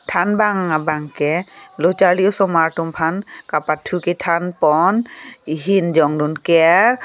than bang abangke loh charli osomar tum phan kapathu kethan pon ehin jong dun ker.